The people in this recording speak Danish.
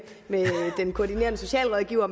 den koordinerende socialrådgiver